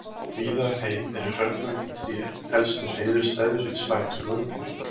Víða um heim eru hrörnandi tré helstu hreiðurstæði fyrir spætur og uglur.